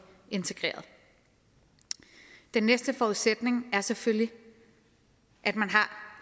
integreret den næste forudsætning er selvfølgelig at man har